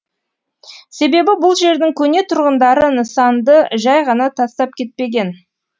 себебі бұл жердің көне тұрғындары нысанды жай ғана тастап кетпеген